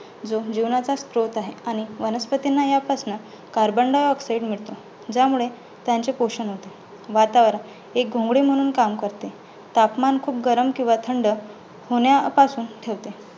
जो जीवनाचा स्त्रोत आहे. आणि वनस्पतींना ह्या पासन carbon diaoxide मिळतो. ज्यामुळे त्यांचे पोषन होते. वातावरण एक घोंगडी म्हणून काम करते, तापमान खूप गरम किंवा थंड होण्यापासून ठेवते.